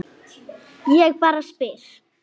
Ég bara spyr.